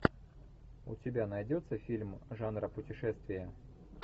у тебя найдется фильм жанра путешествие